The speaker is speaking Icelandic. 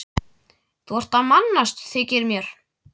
Þú ert að mannast, þykir mér.